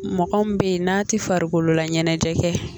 Mɔgɔ min be yen n'a ti farikololaɲɛnɛjɛ kɛ